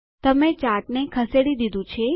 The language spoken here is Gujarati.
તમે ચાર્ટને ખસેડી દીધું છે